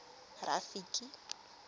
rafiki